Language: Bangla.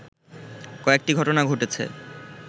কয়েকটি ঘটনা ঘটেছে